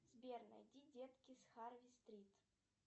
сбер найди детки с харви стрит